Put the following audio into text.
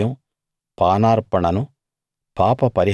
వాటి నైవేద్యం పానార్పణను